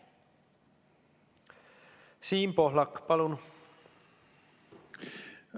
Siim Pohlak, palun!